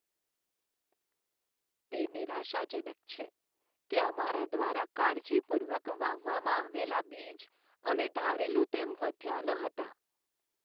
તે નિરાશાજનક છે કે અમારા દ્વારા કાળજીપૂર્વક વાવવામાં આવેલા બીજ અમે ધારેલું તેમ વધ્યાં ન હતાં.